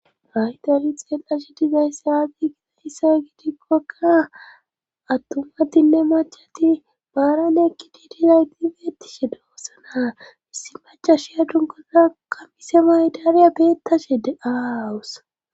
haytali xeel7ashe dizay saadi gitatisa gidikkokka attumadinne machati baaran ekki diidizay diibeettishe doossana issi maca shiya dunkozakammise maydaariya beettashe de awus